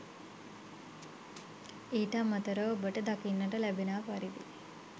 ඊට අමතරව ඔබට දකින්නට ලැබෙනා පරිදි